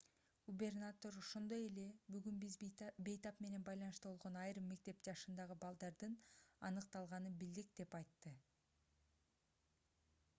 губернатор ошондой эле бүгүн биз бейтап менен байланышта болгон айрым мектеп жашындагы балдардын аныкталганын билдик деп айтты